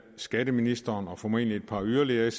skatteministeren og formentlig yderligere et